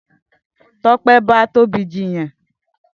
Tope n bà Tobi jiyàn